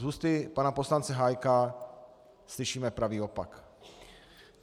Z úst pana poslance Hájka slyšíme pravý opak.